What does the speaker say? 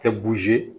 Tɛ